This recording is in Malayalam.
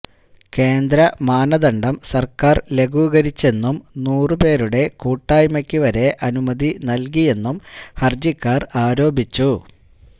കേന്ദ്ര മാനദണ്ഡം സര്ക്കാര് ലഘൂകരിച്ചെന്നും നൂറു പേരുടെ കൂട്ടായ്മയ്ക്ക് വരെ അനുമതി നല്കിയെന്നും ഹര്ജിക്കാര് ആരോപിച്ചു